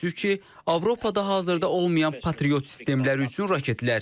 Təəssüf ki, Avropada hazırda olmayan patriot sistemləri üçün raketlər.